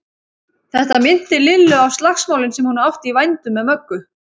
Þetta minnti Lillu á slagsmálin sem hún átti í vændum með Möggu.